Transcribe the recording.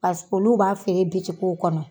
Pasi olu b'a feere bitigiw kɔnɔ.